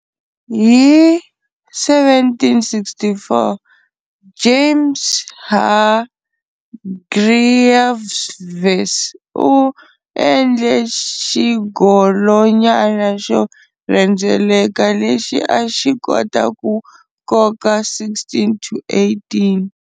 Hi 1764, James Hargreaves u endle xigolonyana xo rhendzeleka lexi a xi kota ku koka 16-18.